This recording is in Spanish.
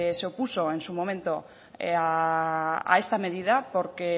se opuso en su momento a esta medida porque